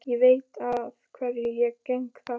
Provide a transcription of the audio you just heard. Ég veit að hverju ég geng þar.